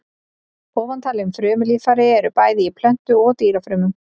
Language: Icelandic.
Ofantalin frumulíffæri eru bæði í plöntu- og dýrafrumum.